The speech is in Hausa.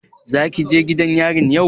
Zaka je gidan yarin yau?